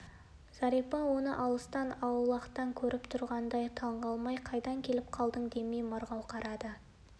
зәрипа оны алыстан аулақтан көріп тұрғандай таңғалмай қайдан келіп қалдың демей марғау қарады